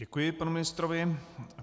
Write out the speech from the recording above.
Děkuji panu ministrovi.